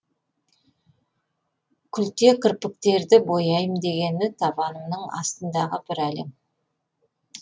күлте кірпіктерді бояйм дегені табанымның астындағы бір әлем